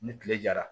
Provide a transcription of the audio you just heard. Ni kile jara